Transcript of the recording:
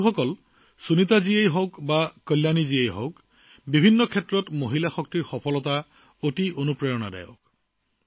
বন্ধুসকল সুনিতাজীয়েই হওক বা কল্যাণীজী বিভিন্ন ক্ষেত্ৰত মহিলাৰ সফলতা অতি প্ৰেৰণাদায়ক